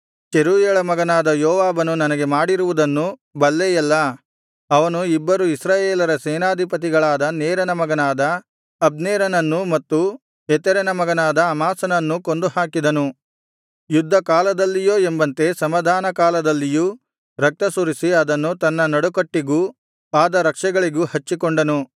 ಚೆರೂಯಳ ಮಗನಾದ ಯೋವಾಬನು ನನಗೆ ಮಾಡಿರುವುದನ್ನು ಬಲ್ಲೆಯಲ್ಲಾ ಅವನು ಇಬ್ಬರು ಇಸ್ರಾಯೇಲರ ಸೇನಾಧಿಪತಿಗಳಾದ ನೇರನ ಮಗನಾದ ಅಬ್ನೇರನನ್ನೂ ಮತ್ತು ಯೆತೆರನ ಮಗನಾದ ಅಮಾಸನನ್ನೂ ಕೊಂದುಹಾಕಿದನು ಯುದ್ಧ ಕಾಲದಲ್ಲಿಯೋ ಎಂಬಂತೆ ಸಮಾಧಾನ ಕಾಲದಲ್ಲಿಯೂ ರಕ್ತಸುರಿಸಿ ಅದನ್ನು ತನ್ನ ನಡುಕಟ್ಟಿಗೂ ಪಾದರಕ್ಷೆಗಳಿಗೂ ಹಚ್ಚಿಕೊಂಡನು